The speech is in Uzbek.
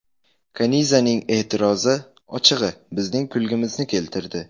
Kanizaning e’tirozi, ochig‘i, bizning kulgimizni keltirdi.